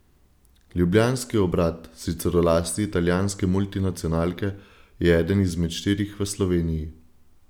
Ljubljanski obrat, sicer v lasti italijanske multinacionalke, je eden izmed štirih v Sloveniji.